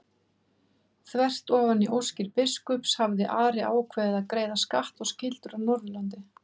Þvert ofan í óskir biskups hafði Ari ákveðið að greiða skatt og skyldur af Norðurlandi.